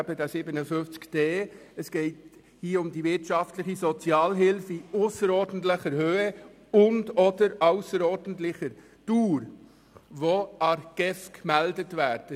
Hier geht es um die wirtschaftliche Sozialhilfe von ausserordentlicher Höhe und/oder ausserordentlicher Dauer, die der GEF gemeldet wird.